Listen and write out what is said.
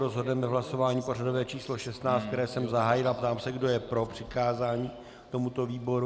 Rozhodneme hlasováním pořadové číslo 16, které jsem zahájil, a ptám se, kdo je pro přikázání tomuto výboru.